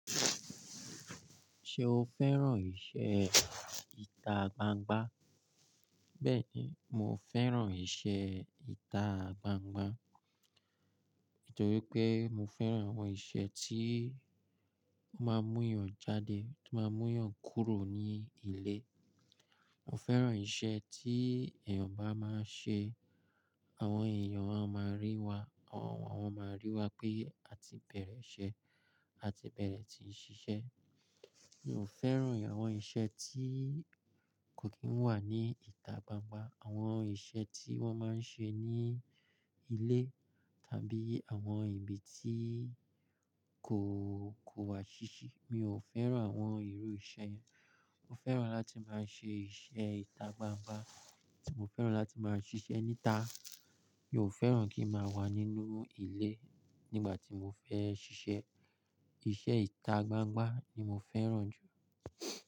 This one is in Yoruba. Ṣé o fẹ́ràn ìṣe ìta gbangba? Bẹ́ẹ̀ni, mo fẹ́ràn ìṣe ìta gbangba. Nítorí pé mo fẹ́ràn àwọn ìṣe tí ó máa ń mú èèyàn jáde, tí ó máa ń mú èèyàn kúrò ní ilé. Mo fẹ́ràn ìṣe tí èèyàn bá máa ń ṣe, àwọn èèyàn á máa rí wa, àwọn máa rí wa pé a ti bẹ̀rẹ̀ ìṣe, a ti bẹ̀rẹ̀ tí ń ṣiṣẹ́. Mi ò fẹ́ràn àwọn ìṣe tí kò kí ń wà ní ìta gbangba, àwọn ìṣe tí wọ́n máa ń ṣe ní ilé tàbí àwọn ibi tí kò, kò wà ṣíṣi. Mi ò fẹ́ràn àwọn irú iṣẹ́ yẹn. Mo fẹ́ràn láti máa ṣe ìṣe ìta gbangba. Mo fẹ́ràn láti máa ṣiṣẹ́ níta. Mi ò fẹ́ràn kí a máa wà nínú ilé nígbà tí mo fẹ́ ṣiṣẹ́. Ìṣe ìta gbangba ni mo fẹ́ràn jù.